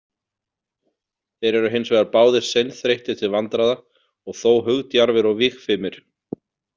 Þeir eru hins vegar báðir seinþreyttir til vandræða og þó hugdjarfir og vígfimir.